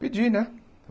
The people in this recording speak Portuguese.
pedi, né?